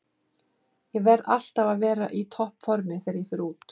Ég verð alltaf að vera í toppformi þegar ég fer í út